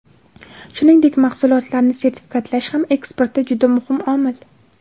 Shuningdek, mahsulotlarni sertifikatlash ham eksportda juda muhim omil.